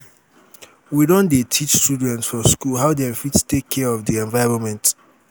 we don dey teach children for skool how dem fit take care of di environment.